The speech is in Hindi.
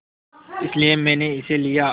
इसलिए मैंने इसे लिया